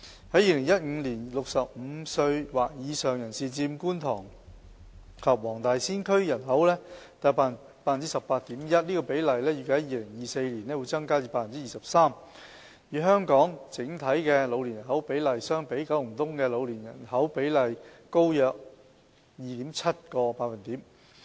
在2015年 ，65 歲或以上人士佔觀塘及黃大仙區的人口約 18.1%， 這個比例預計在2024年會增至 23%， 與香港整體的老年人口比例相比，九龍東的老年人口比例高約 2.7 個百分點。